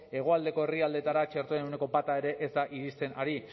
hegoaldeko herrialdeetara txertoen ehuneko bat ere ez da iristen ari